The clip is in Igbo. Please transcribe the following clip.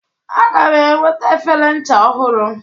Aga m enweta efere ncha ọhụrụ.